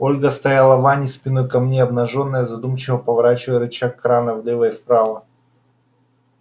ольга стояла в ванне спиной ко мне обнажённая задумчиво поворачивала рычаг крана влево и вправо